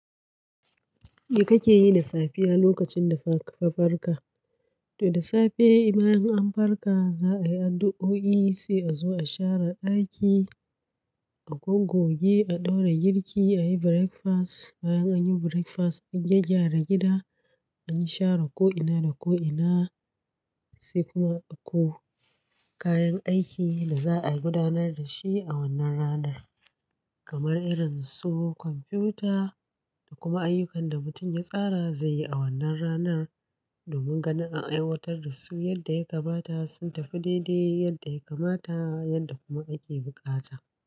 Me kake yi da safiya lokacin da ka farka? To da safe bayan an farka, za a yi addu'o'i, sai a zo a share daki, a gogoge, a ɗaura girki, a yi breakfast. Bayan an yi breakfast, a gyaggyara gida, a yi share ko ina da ko ina, sai kuma a koyo kayan aikin da za a gudanar da shi a wannan ranar, kamar irin su kwamfuta da kuma ayyukan da mutum ya tsara zai yi a wannan ranar domin ganin an aiwatar da su yadda ya kamata, sun tafi daidai yadda ya kamata yadda kuma ake bukata.